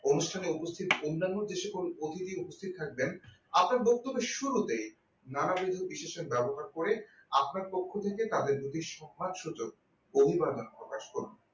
অনুষ্ঠানে উপস্থিত অন্যান্য যে সকল অতিথি উপস্থিত থাকবেন আপনার বক্তব্যের শুরুতেই নানাবিধ বিশেষক ব্যবহার করে আপনার পক্ষ থেকে যদি তাদের যদি সম্মানসূচক অভিভাবন প্রকাশ করেন